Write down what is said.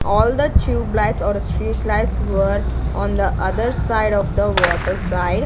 all the tubelights or street lights were on the other side of the water side.